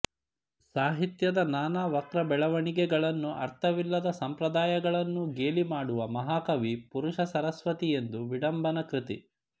ಸಾಹಿತ್ಯದ ನಾನಾ ವಕ್ರ ಬೆಳೆವಣಿಗೆ ಗಳನ್ನೂ ಅರ್ಥವಿಲ್ಲದ ಸಂಪ್ರದಾಯಗಳನ್ನೂ ಗೇಲಿ ಮಾಡಿರುವ ಮಹಾಕವಿ ಪುರುಷ ಸರಸ್ವತಿಯೊಂದು ವಿಡಂಬನ ಕೃತಿ